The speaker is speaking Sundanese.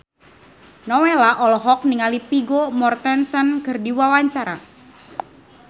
Nowela olohok ningali Vigo Mortensen keur diwawancara